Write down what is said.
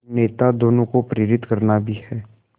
नेता दोनों को प्रेरित करना भी है